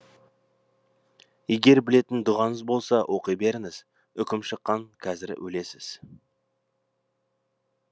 егер білетін дұғаңыз болса оқи беріңіз үкім шыққан қазір өлесіз